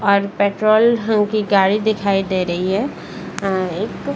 और पेट्रोल ढंग की गाड़ी दिखाई दे रही है अ एक --